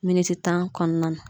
Miniti tan kɔnɔna na.